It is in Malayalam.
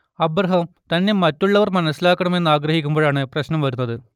അബ്രാഹം തന്നെ മറ്റുള്ളവർ മനസ്സിലാക്കണമെന്ന് ആഗ്രഹിക്കുമ്പോഴാണ് പ്രശ്നം വരുന്നത്